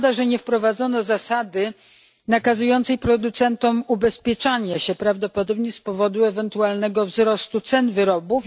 Szkoda, że nie wprowadzono zasady nakazującej producentom ubezpieczanie się, prawdopodobnie z powodu ewentualnego wzrostu cen wyrobów.